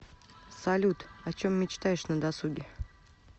салют о чем мечтаешь на досуге